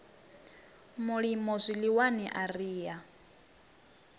mulimo zwiḽiwani a ri a